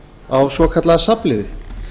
á svokallaða safnliði